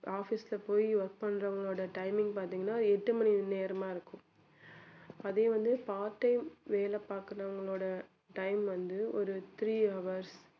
office ல போய் work பண்றவங்களோட timing பார்த்தீங்கன்னா எட்டு மணி நேரமா இருக்கும் அதே வந்து part time வேலை பாக்குறவங்களோட time வந்து ஒரு three hours